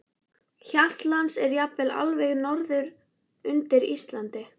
Hjaltlands og jafnvel allt norður undir Ísland.